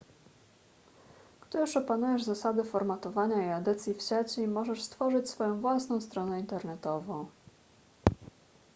gdy już opanujesz zasady formatowania i edycji w sieci możesz stworzyć swoją własną stronę internetową